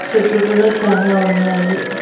చెట్లు గూడా చానా ఉన్నాయి.